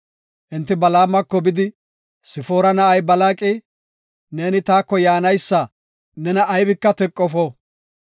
Enti Balaamako bidi, “Sifoora na7ay Balaaqi, ‘Neeni taako yaanaysa nena aybika teqofo.